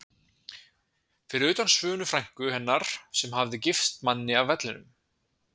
Fyrir utan Svönu frænku hennar sem hafði gifst manni af Vellinum.